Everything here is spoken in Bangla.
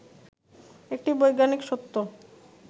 একটি বৈজ্ঞানিক সত্য